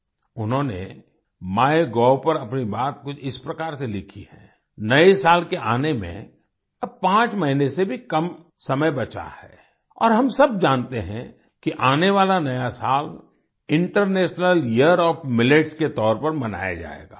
उन्होंने माइगोव पर अपनी बात कुछ इस प्रकार से लिखी है नए साल के आने में अब 5 महीने से भी कम समय बचा है और हम सब जानते हैं कि आने वाला नया साल इंटरनेशनल यियर ओएफ मिलेट्स के तौर पर मनाया जाएगा